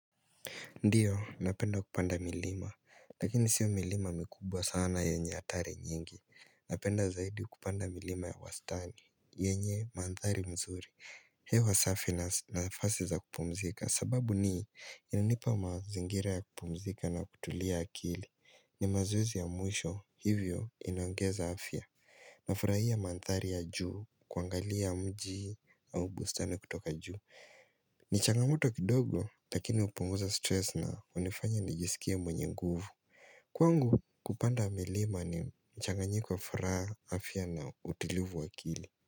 Ndio, napenda kupanda milima, lakini sio milima mikubwa sana yenye hatari nyingi. Napenda zaidi kupanda milima ya wastani, yenye manthari mzuri. Hewa safi na nafasi za kupumzika, sababu ni, inanipa mazingira ya kupumzika na kutulia akili. Ni mazoezi ya mwisho, hivyo inaongeza afya. Nafurahia mandhari ya juu, kuangalia mji au bustani kutoka juu. Ni changamoto kidogo, lakini hupunguza stress na hunifanya nijisikie mwenye nguvu Kwangu kupanda milima ni mchanganyiko wa furaha, afya na utulivu wa akili.